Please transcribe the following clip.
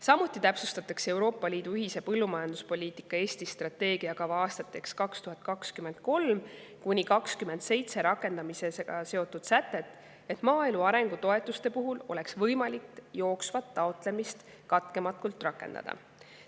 Samuti täpsustatakse Euroopa Liidu ühise põllumajanduspoliitika Eesti strateegiakava 2023–2027 rakendamisega seotud sätet, et maaelu arengu toetuste puhul oleks võimalik jooksvat taotlemist katkematult rakendada.